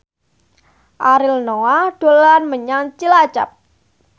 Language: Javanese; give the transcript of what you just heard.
Ariel Noah dolan menyang Cilacap